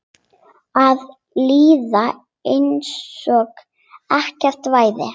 Að líða einsog ekkert væri.